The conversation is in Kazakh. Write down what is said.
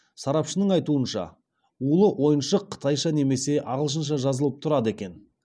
сарапшының айтуынша улы ойыншық қытайша немесе ағылшынша жазылып тұрады екен